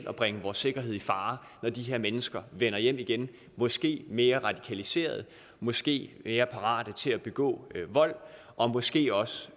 at bringe vores sikkerhed i fare når de her mennesker vender hjem igen måske mere radikaliserede måske mere parate til at begå vold og måske også